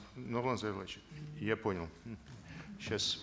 нурлан зайроллаевич я понял сейчас